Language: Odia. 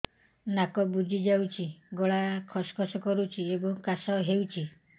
ନାକ ବୁଜି ଯାଉଛି ଗଳା ଖସ ଖସ କରୁଛି ଏବଂ କାଶ ହେଉଛି